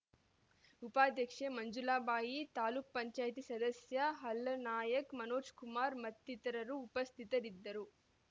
ಉಪಾಧ್ಯಕ್ಷೆ ಮಂಜುಳಾಬಾಯಿ ತಾಲೂಕು ಪಂಚಾಯತಿ ಸದಸ್ಯ ಹಾಲಾನಾಯ್ಕ ಮನೋಜ್‌ಕುಮಾರ್‌ ಮತ್ತಿತರರು ಉಪಸ್ಥಿತರಿದ್ದರು